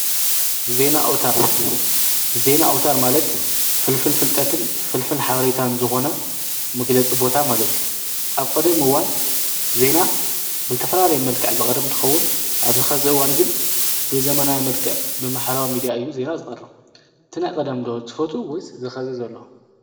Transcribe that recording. ዜና ኣውታር ዜና ኣውታር ማለት ፍልፍል ፍልጠትን ፍልፍል ሓበሬታን ዝኮኑ መግለፂ ቦታ ማለት እዩ፡፡ ኣብ ቀደም እዋን ዜና ብዝተፈላለየ መልክዕ ዝቀርብ እንትከውን ኣብዚ ሕዚ እዋን ግን ብዘበናዊ መልክዕ ብማሕበራዊ ሚድያ እዩ ዜና ዝቀርብ፡፡ እቲ ናይ ቀደም ዶ ትፈትውስ እዚ ናይ ሎሚ ዘሎ?